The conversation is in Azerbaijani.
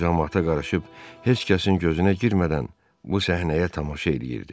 O camaata qarışıb heç kəsin gözünə girmədən bu səhnəyə tamaşa eləyirdi.